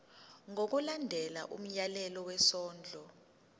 ngokulandela umyalelo wesondlo